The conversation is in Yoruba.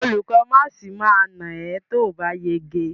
Olùkó máàsì ma nà ẹ́ tóòbá yege.